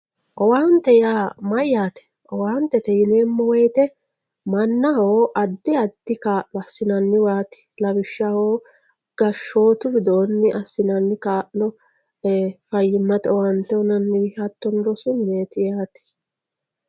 Owaante yaa mayyaate owaantete yineemo woyte mannaho addi addi kaa'lo assinanniwaat lawishshaho gashootu widoo assinanni Kaa'lo Fayyimate owaante uyinanniw hattono rosu mineet yaate